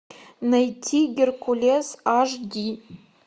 найти геркулес аш ди